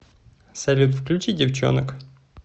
салют включи девчонок